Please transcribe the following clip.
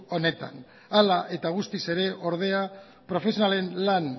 honetan hala eta guztiz ere ordea profesionalen lan